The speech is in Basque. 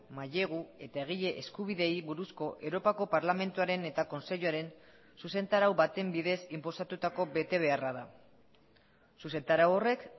mailegu eta egile eskubideei buruzko europako parlamentuaren eta kontseiluaren zuzentarau baten bidez inposatutako betebeharra da zuzentarau horrek